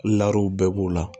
bɛɛ b'o la